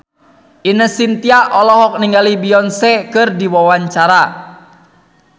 Ine Shintya olohok ningali Beyonce keur diwawancara